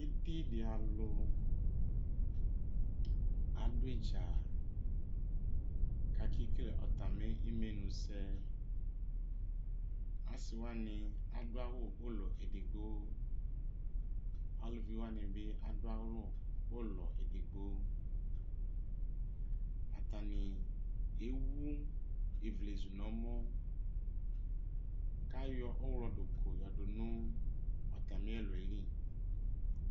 Ididi alʋ adʋ idza kʋ akekele atami imenʋsɛ asi wani adʋ awʋ ʋlɔ edigbo alʋvi wani bi adʋ awʋ ʋlɔ edigbo atani ewʋ ivlezʋ nʋ ɔmɔ kʋ ayɔ ɔwlɔduklu yɔdʋ nʋ atami ɛlʋ yɛli